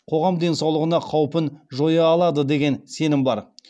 қоғам денсаулығына қаупін жоя алады деген сенім бар